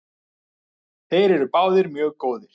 Þeir eru báðir mjög góðir.